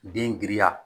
Den giriya